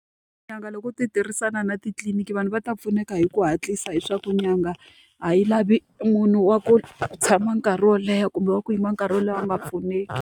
Tin'anga loko u ti tirhisana na titliliniki vanhu va ta pfuneka hi ku hatlisa, hileswaku n'anga a yi lavi munhu wa ku tshama nkarhi wo leha kumbe wa ku yima nkarhi wo leha a nga pfuneki.